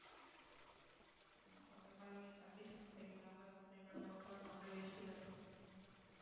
ஆமா அந்த மாதிரி condition சரியில்லாம இருக்கிற time ல நம்ம போனா நம்மளும் waste தானே